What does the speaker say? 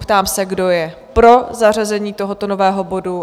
Ptám se, kdo je pro zařazení tohoto nového bodu?